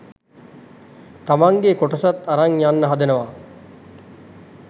තමන්ගෙ කොටසත් අරන් යන්න හදනව.